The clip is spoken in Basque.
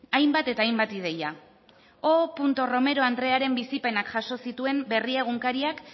hainbat eta hainbat ideia o romero andrearen bizipenak jaso zituen berria egunkariak